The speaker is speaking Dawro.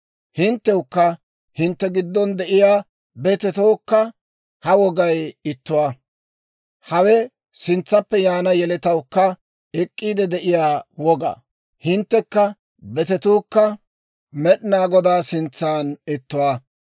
Hinttewukka hintte giddon de'iyaa betetookka ha wogay ittuwaa; hawe sintsaappe yaana yeletawukka ek'k'iide de'iyaa woga. Hinttekka betetuukka Med'inaa Godaa sintsan ittuwaa.